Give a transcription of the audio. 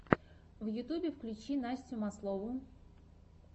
в ютюбе включи настю маслову